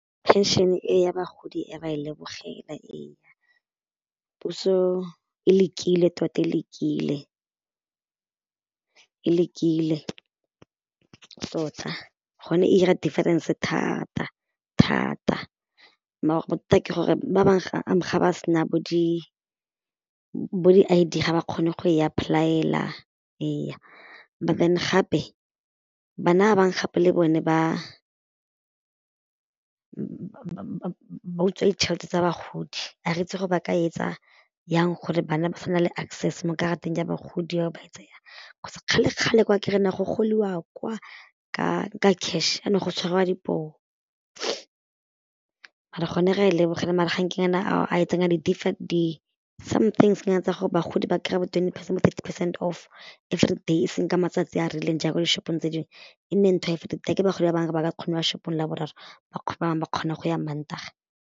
Phenšene e ya bagodi e ra e lebogela ee puso e lekile tota e lekile, e lekile tota gone e 'ira difference thata thata mara bothata ke gore ba bangwe ga ba se na bo di bo di-I_D ga ba kgone go ya apply-ela ee, and then gape bana ba bangwe gape le bone ba utswa ditšhelete tsa bagodi a re itse gore ba ka e etsa jang gore bana ba sa nna le access mo karateng ya bagodi ba etse jang cause kgale-kgale kwa kry-a go goliwa kwa ka cash a jaanong go tshwariwa dipoo mara gone re lebogela mara ga nke nyana a e tsenya di somethings nyana tsa gore bagodi kry-e bo-twenty percent, thirty percent off everyday e seng ka matsatsi a rileng jaaka di shop-ong tse dingwe e nne ntho ya a kere bagodi ba bangwe ba ka se kgone go ya shop-ong Laboraro ba bangwe ba kgona go ya Mantaga.